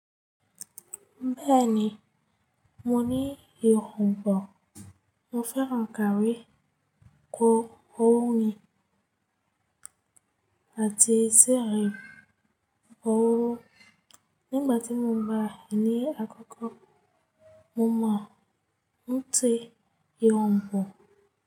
Bẹ́ẹ̀ni, mo ní ìhun gbọ̀, mo fẹ́ràn kàrí, kóóróó ni àti síerí kóóróó. Nígbà tí mo bá ní àkókò, mo máa ń tẹ ìhun gbọ̀.